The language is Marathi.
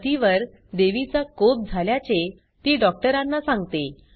पतीवर देवीचा कोप झाल्याचे ती डॉक्टरांना सांगते